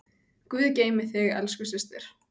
Guð geymi þig, elsku systir.